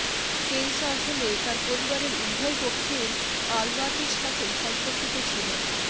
Elsa আসলে তার পরিবারের উভয় পক্ষের আলবার্টের সাথে সম্পর্কিত ছিল